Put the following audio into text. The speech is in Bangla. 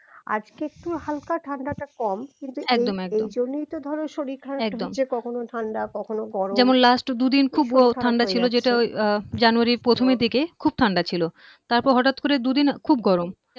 আজকে একটু হালকা ঠান্ডাটা কম কিন্তু একদম একদম এই জন্যই তো ধরো শরীর একদম খারাপ হচ্ছে কখনো ঠান্ডা কখনো গরম যেমন last দুদিন খুব ঠান্ডা ছিল যে আহ জানুয়ারীর প্রথমে থেকে খুব ঠান্ডা ছিল তারপর হঠাৎ করে দুদিন আগে খুব গরম